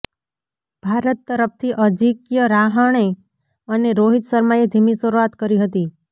ભારત તરફથી અજિંક્ય રાહણે અને રોહિત શર્માએ ધીમી શરૂઆત કરી હતી